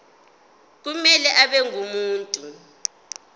kumele abe ngumuntu